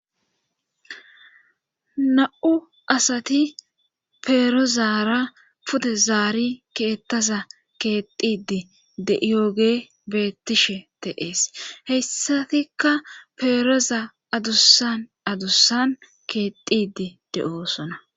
na7u asati peerozaara pute zaari keettaza keexidi deiyooge beettishe teees heyssatikka peeroza adusan adusan keexidi de7oo sona